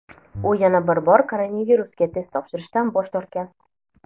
u yana bir bor koronavirusga test topshirishdan bosh tortgan.